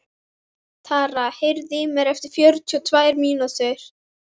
Tara, heyrðu í mér eftir fjörutíu og tvær mínútur.